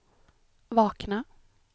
vakna